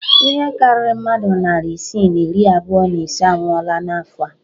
Ihe karịrị mmadụ narị isii na iri abụọ na ise anwụọla n'afọ a